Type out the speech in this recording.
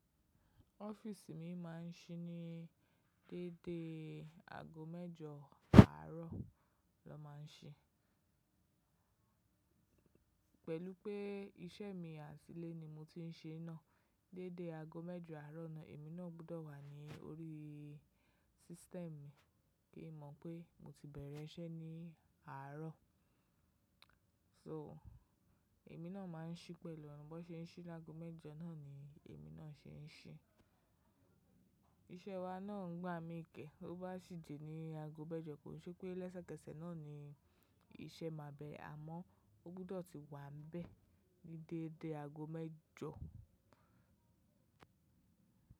Office mi máa ń ṣí ní dédé aago mẹ́jọ àárọ̀ na máa ń ṣí. Pẹ̀lú pé iṣẹ́ mi àtílé ni mo ti ń ṣe náà, dédé aago mẹ́jọ àárọ̀ náà èmi náà gbọ́dọ̀ wà ní orí system kí mọ̀ pé mo ti bẹ̀rẹ̀ iṣẹ́ ní àárọ̀. So èmi náà máa ń ṣí pẹ̀lú wọn, ba ṣe ń ṣí lágo mẹ́jọ náà ni èmi náà ṣe ń ṣí. Iṣẹ́ wa náà ń gbá mi kẹ́, ó bá sì jẹ́ ní aago mẹ́jọ kò ṣe pé lẹ́sẹ̀kẹsẹ̀ náà ni iṣẹ́ máa bẹ̀rẹ̀, àmọ́ ó gbọ́dọ̀ ti wà bẹ́ẹ̀ ní dédé aago mẹ́jọ.